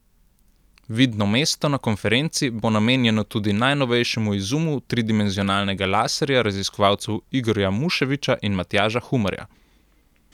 Vidno mesto na konferenci bo namenjeno tudi najnovejšemu izumu tridimenzionalnega laserja raziskovalcev Igorja Muševiča in Matjaža Humarja.